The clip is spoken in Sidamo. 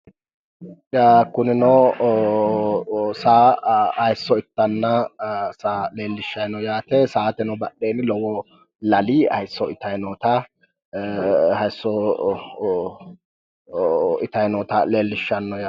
Kunino saa haayiisso itanna, saa leellishshayi no yaate, saateno badheenni lowo lali haayiisso itayi noota, haayiisso itayi noota leellishshanno yaate.